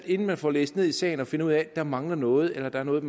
inden man får læst ned i sagen og finder ud af at der mangler noget eller at der er noget